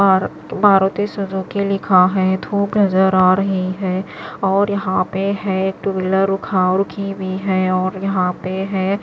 और मारुती - सुज़ूकी लिखा है धूप नजर आ रही है और यहां पे है एक टू व्हीलर उखा रुखीं भी है और यहां पे है--